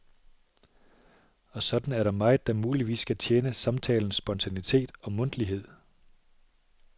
Og sådan er der meget, der muligvis skal tjene samtalens spontanitet og mundtlighed.